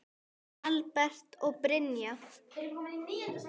Albert og Brynja.